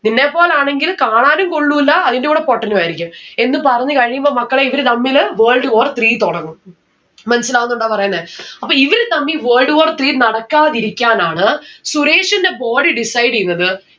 നിന്നെപ്പോലെ ആണെങ്കിൽ കാണാനും കൊള്ളൂല അതിന്റെ കൂടെ പൊട്ടനും ആയിരിക്കും. എന്ന് പറഞ്ഞ് കഴിയുമ്പം മക്കളെ ഇവര് തമ്മില് world war three തൊടങ്ങും. മനസ്സിലാവുന്നുണ്ടോ പറയുന്നേ അപ്പൊ ഇവര് തമ്മിൽ world war three നടക്കാതിരിക്കാനാണ് സുരേഷിന്റെ body decide എയ്ന്നത്